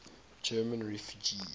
german refugees